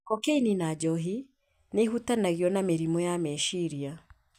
kokaini na njohi nĩ ũhutanagio na mĩrimũ ya meciria.